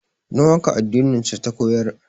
Don haka addinin su ta koyar